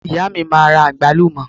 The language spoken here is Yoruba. ìyá mi ma ra agbalumo